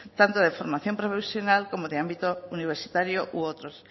tanto de formación profesional como de ámbito universitario u otros